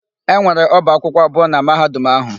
E nwere ọba akwụkwọ abụọ na Mahadum áhụ̀.